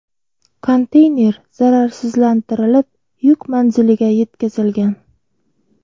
Konteyner zararsizlantirilib yuk manziliga yetkazilgan.